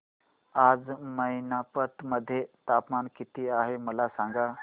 आज मैनपत मध्ये तापमान किती आहे मला सांगा